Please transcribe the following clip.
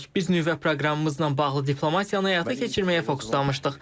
Biz nüvə proqramımızla bağlı diplomatiyanı həyata keçirməyə fokuslamışdıq.